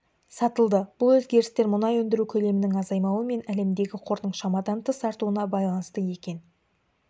сатылды бұл өзгерістер мұнай өндіру көлемінің азаймауы мен әлемдегі қордың шамадан тыс артуына байланысты екен